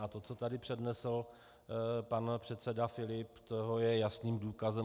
A to, co tady přednesl pan předseda Filip, toho je jasným důkazem.